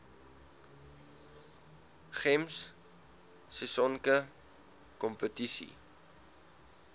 gems sisonke kompetisie